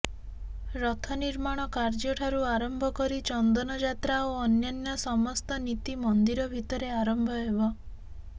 ରଥ ନିର୍ମାଣ କାର୍ଯ୍ୟଠାରୁ ଆରମ୍ଭ କରି ଚନ୍ଦନଯାତ୍ରା ଓ ଅନ୍ୟାନ୍ୟ ସମସ୍ତ ନୀତି ମନ୍ଦିର ଭିତରେ ଆରମ୍ଭ ହେବ